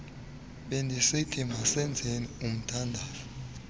bendisithi masenzeni umthandazo